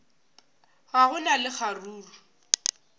ga go na le kgaruru